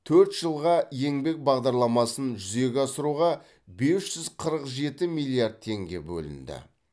төрт жылға еңбек бағдарламасын жүзеге асыруға бес жүз қырық жеті миллиард теңге бөлінді